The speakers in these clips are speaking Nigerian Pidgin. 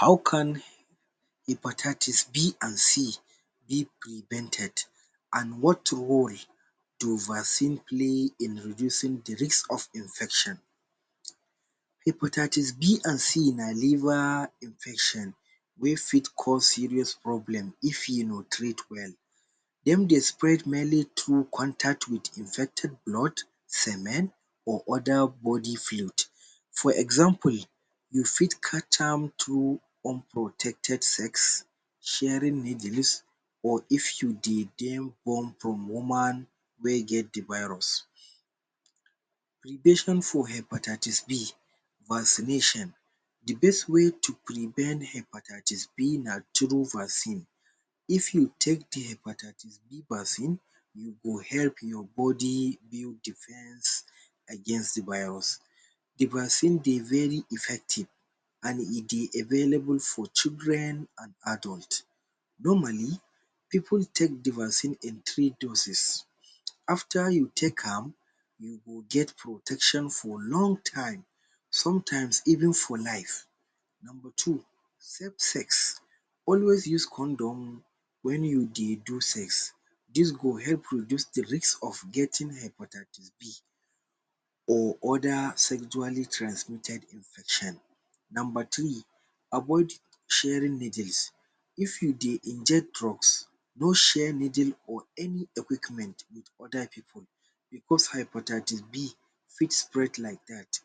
[um]How can hepatitis B and C be prevented and what role do vaccine play in reducing de risk of infection um. hepatitis B and c na liver infection wey fit cause serious problem; if e no treat well dem dey fit spread mainly too contact with infected blood semen or other body fluid for example you fit catch am through unprotected sex, sharing needles or if you dey get born form woman wey get de virus. Prevention for hepatitis B vaccination: de best way to prevent hepatitis B, na through vaccine if you take de hepatitis B vaccine, you go help your body build defence against de virus. De vaccine dey very effective and e dey available for children and adults normally pipu take de vaccine in three doses after you take am you go get protection for long time sometimes even for life. Number two: safe sex always use condom when you dey do sex this go help reduce de risk of getting hepatitis B or other sexually transmitted infection. number three: avoid sharing needles if you dey inject drugs no share needle or any equipment with other pipu because hepatitis B fit spread like that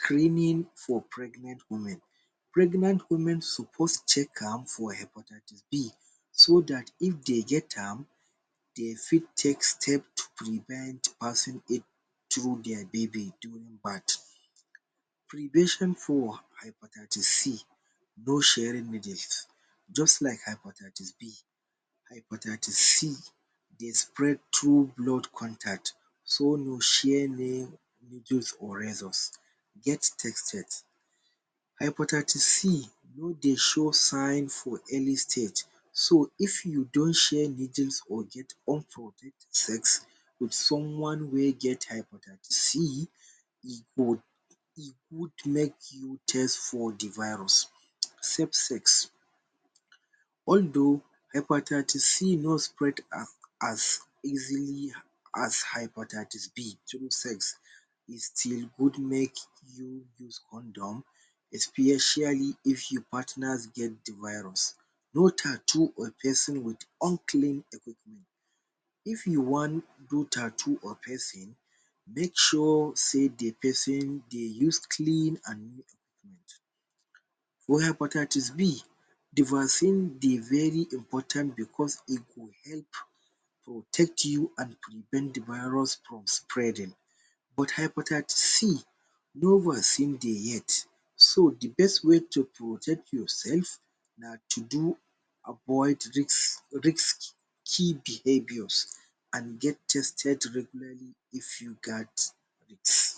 training for pregnant women. pregnant women suppose check am for hepatitis B so that if dey get am dey, fit take step to prevent passing through their baby during birth. prevention for hepatitis C: no sharing needles just like hepatitis B. hepatitis C dey spread through blood contacts, so no share needle or razors. get tested. hepatitis C no dey show sign for any state. so if you don share needles or get unprotected sex with someone wey get hepatitis C, e go e good make you test for de virus. safe sex although hepatitis C no spread as as easily as hepatitis B. through sex, e still good make you use condom especially if your partners get de virus. no tattoos or piercings with unclean equipment: if you wan do tattoo or piercing, make sure sey de person dey use clean and neat equipment for hepatitis B de vaccine dey very important because e go help protect you and prevent de virus from spreading but hepatitis c no vaccine dey yet so the best way to protect yourself na to do avoid risk risky behaviours and get tested regularly if you gat it.